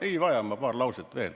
Ei vaja, ma ütlen vaid paar lauset veel.